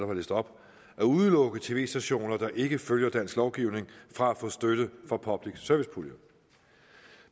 har læst op at udelukke tv stationer der ikke følger dansk lovgivning fra at få støtte fra public service puljen